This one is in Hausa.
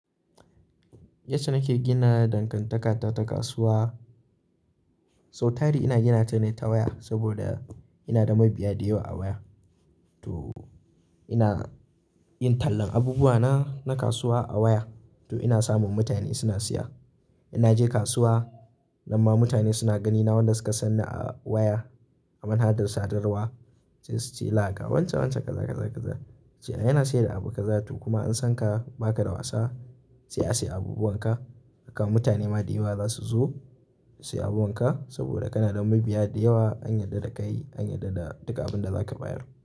Yace nake gina dankantaka ta kasuwa. Sau tari ina ginata ne ta waya saboda ina da mabiya da yawa a waya. To ina yin tallan abubuwa na, na kasuwa a waya. To ina samun mutane suna siya. In naje kasuwa, nan ma mutane suna ganina wadanda suka san ni a waya. A manhadar sadarwa sai su ce laha ga wancan wancan kaza, kaza, kaza. Ce a yana sayar da abu kazatu kuma an san ka baka da wasa sai a siya abubuwan ka. Haka mutane ma da yawa za su zo su siya abubuwan ka saboda kana da mabiya da yawa an yarda da ka yi, an yarda da duka abun da zaka bayar.